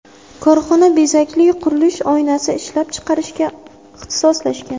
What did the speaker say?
Korxona bezakli qurilish oynasi ishlab chiqarishga ixtisoslashgan.